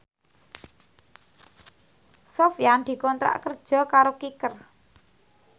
Sofyan dikontrak kerja karo Kicker